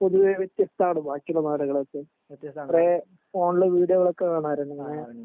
പൊതുവെ വ്യത്യസ്തണ് ബാക്കി ഉള്ള നാടുകളൊക്കെ കൊറേ ഫോണിൽ വീഡിയോ ഒക്കെ കാണാറ് ണ്ട് ങ്ങനെ